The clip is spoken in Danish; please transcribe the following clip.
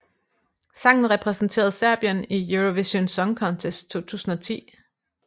Sangen repræsenterede Serbien i Eurovision Song Contest 2010